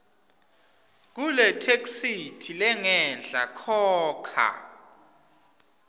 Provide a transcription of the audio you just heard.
kuletheksthi lengenhla khokha